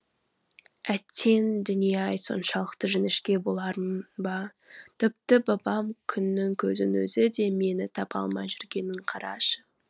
әттең дүние ай соншалықты жіңішке болармын ба тіпті бабам күннің көзінің өзі де мені таба алмай жүргенін қарашы